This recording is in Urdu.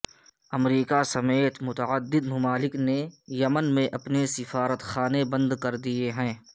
امریکہ سمیت متعدد ممالک نے یمن میں اپنے سفارت خانے بند کر دیے ہیں